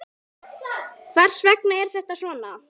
Hvers vegna er þetta svona?